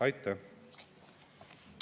Aitäh!